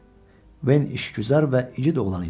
Ven işgüzar və igid oğlan idi.